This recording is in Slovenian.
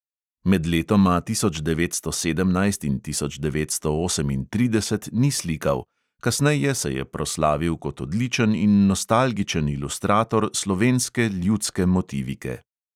Med letoma tisoč devetsto sedemnajst in tisoč devetsto osemintrideset ni slikal, kasneje se je proslavil kot odličen in nostalgičen ilustrator slovenske ljudske motivike.